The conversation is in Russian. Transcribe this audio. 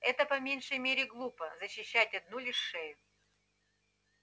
это по меньшей мере глупо защищать одну лишь шею